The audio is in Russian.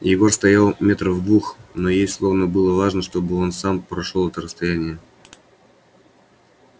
егор стоял метрах в двух но ей словно было важно чтобы он сам прошёл это расстояние